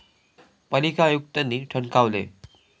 पालिका आयुक्तांनी ठणकावले